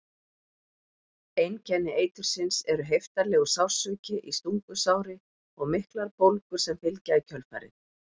Einkenni eitursins eru heiftarlegur sársauki í stungusári og miklar bólgur sem fylgja í kjölfarið.